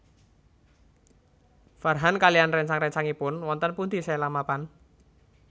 Farhan kaliyan réncang réncangipun wonten pundi Sheila mapan